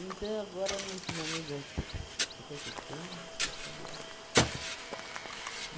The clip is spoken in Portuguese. agora, nesse momento das te, você quer que eu cante?